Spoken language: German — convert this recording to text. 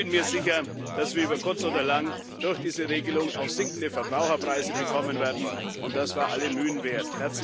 Ich bin mir sicher, dass wir über kurz oder lang durch diese Regelung auch sinkende Verbraucherpreise bekommen werden, und das war alle Mühen wert.